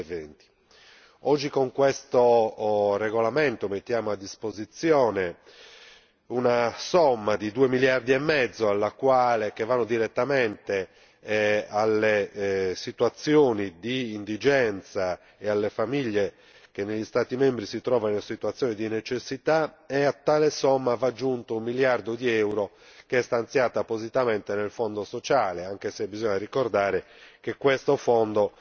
2020. Oggi con questo regolamento mettiamo a disposizione una somma di 2 miliardi e mezzo, che vanno direttamente alle situazioni di indigenza e alle famiglie che negli Stati membri si trovano in una situazione di necessità. A tale somma va aggiunto 1miliardo di euro che è stanziato appositamente dal Fondo sociale, anche se bisogna ricordare che questo Fondo